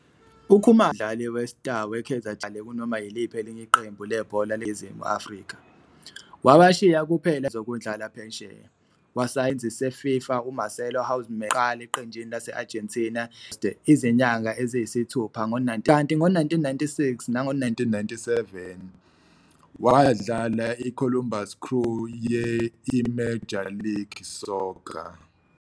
UKhumalo waqhubeka waba ngumdlali we-star we-Kaizer Chiefs futhi akazange adlale kunoma yiliphi elinye iqembu lebhola likanobhutshuzwayo laseNingizimu Afrika, wabashiya kuphela izikhathi ezimfushane zokudlala phesheya - wasayina nesisebenzi se-FIFA uMarcelo Houseman owamyisa okokuqala eqenjini lase-Argentina i-Ferro Carril Oeste izinyanga eziyisithupha ngo-1995, kanti ngo-1996 nango-1997 wadlala i-Columbus Crew ye-I-Major League Soccer.